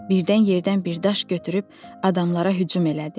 Birdən yerdən bir daş götürüb adamlara hücum elədi.